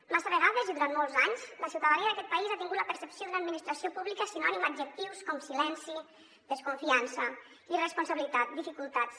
massa vegades i durant molts anys la ciutadania d’aquest país ha tingut la percepció d’una administració pública sinònima a adjectius com silenci desconfiança irresponsabilitat dificultats